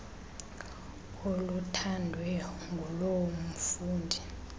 oluthandwe nguloo mfundi